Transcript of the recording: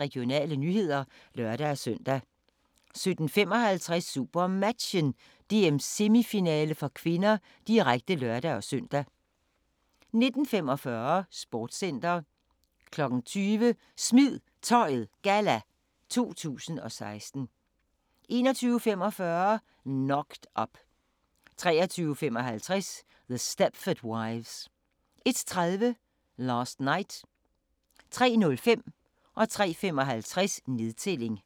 Regionale nyheder (lør-søn) 17:55: SuperMatchen: DM-semifinale (k), direkte (lør-søn) 19:45: Sportscenter 20:00: Smid Tøjet Galla 2016 21:45: Knocked Up 23:55: The Stepford Wives 01:30: Last Night 03:05: Nedtælling 03:55: Nedtælling